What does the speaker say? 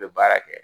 N bɛ baara kɛ